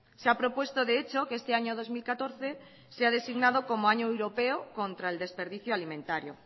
se ha propuesto de hecho que este año dos mil catorce sea designado como año europeo contra el desperdicio alimentario